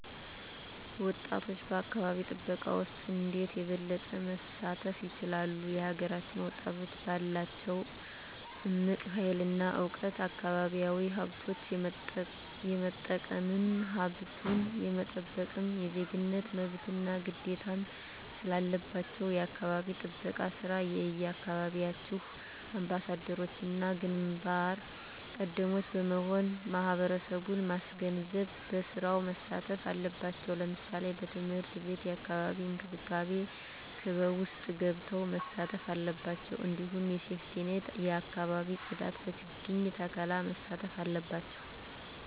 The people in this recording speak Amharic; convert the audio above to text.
ወጣቶች በአካባቢ ጥበቃ ውስጥ እንዴት የበለጠ መሳተፍ ይችላሉ? የሀገራችንን ወጣቶች ባላቸው እምቅ ሀይል እና እውቀት አካባቢያዊ ሀብቶች የመጠቀምም ሀብቱን የመጠበቅም የዜግነት መብትና ግዴታም ስላለባችሁ የአካባቢ ጥበቃ ስራ የየአካባቢያችሁ አምባሳደሮችና ግንባር ቀደሞች በመሆን ማህበረሰቡን ማስገንዘብ በስራው መሳተፍ አለባቸው ለምሳሌ በትምህርት ቤት የአካባቢ እንክብካቤ ክበብ ውስጥ ገብተው መሳተፍ አለባቸው እንዲሁም በሴፍትኔት የአካባቢ ፅዳት በችግኝ ተከላ መሳተፍ አለባቸው